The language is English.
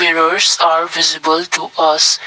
Pillers are visible to us.